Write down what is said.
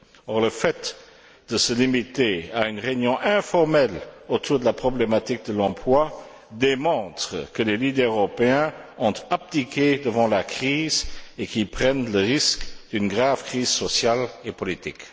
Or, le fait de se limiter à une réunion informelle autour de la problématique de l'emploi démontre que les leaders européens ont abdiqué devant la crise et qu'ils prennent le risque d'une grave crise sociale et politique.